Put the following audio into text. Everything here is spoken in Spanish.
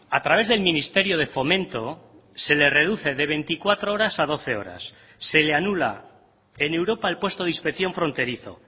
a través del ministerio de fomento se le reduce de veinticuatro horas a doce horas se le anula en europa el puesto de inspección fronterizo